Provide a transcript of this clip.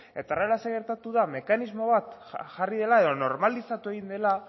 eta horrela zer gertatu da mekanismo bat jarri dela edo normalizatu egin dela